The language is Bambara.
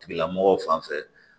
Tigilamɔgɔw fanfɛ